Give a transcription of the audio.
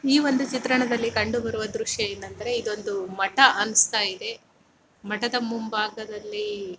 ಈ ಒಂದು ಚಿತ್ರಣದಲ್ಲಿ ಕಂಡುಬರುವ ದೃಶ್ಯ ಏನೆಂದರೆ ಇದು ಒಂದು ಮಠ ಅನ್ನುಸ್ತಾ ಇದೆ ಮಠದ ಮುಂಭಾಗದಲ್ಲಿ --